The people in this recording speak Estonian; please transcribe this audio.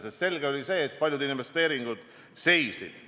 Sest selge oli see, et paljud investeeringud seisid.